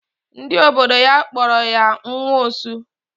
Ndị obodo ya kpọrọ ya nwa osu.